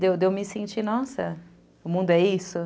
De eu de eu me sentir, nossa, o mundo é isso?